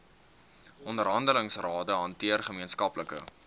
onderhandelingsrade hanteer gemeenskaplike